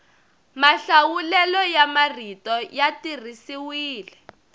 mahlawulelo ya marito ya tirhisiwile